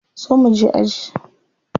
Zo mu je aji.